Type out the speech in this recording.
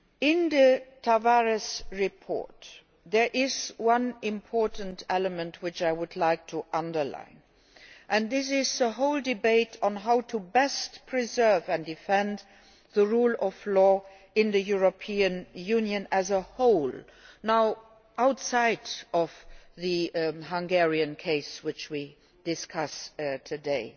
In the Tavares report there is one important element which I would like to underline, namely the whole debate on how to best preserve and defend the rule of law in the European Union as a whole, outside the Hungarian case which are discussing today.